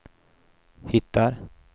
hittar